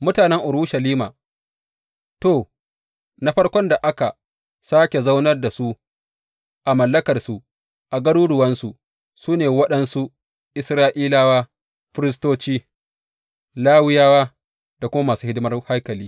Mutanen Urushalima To, na farkon da aka sāke zaunar da su a mallakarsu a garuruwansu, su ne waɗansu Isra’ilawa, firistoci, Lawiyawa da kuma masu hidimar haikali.